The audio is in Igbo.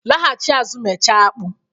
laghachi azụ mechaa apku